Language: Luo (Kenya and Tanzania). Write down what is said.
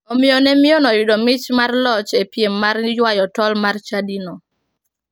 Omiyo ne mine oyudo mich mar loch e piem mar yuayo tol mar chadino.